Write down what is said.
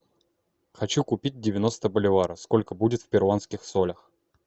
хочу купить девяносто боливаров сколько будет в перуанских солях